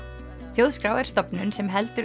þjóðskrá er stofnun sem heldur